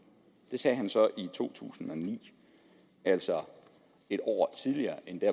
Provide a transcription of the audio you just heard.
det sagde han så i to tusind og ni altså et år tidligere end det